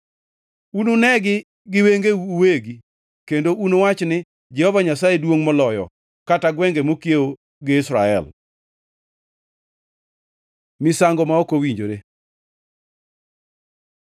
Ununegi gi wengeu uwegi kendo unuwachi ni, ‘Jehova Nyasaye Duongʼ Moloyo kata gwenge mokiewo gi Israel!’ ” Misango ma ok owinjore